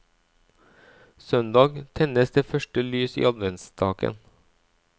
Søndag tennes det første lys i adventsstaken.